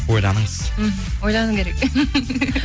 ойланыңыз мхм ойлану керек